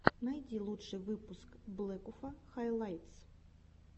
найти лучший выпуск блэкуфа хайлайтс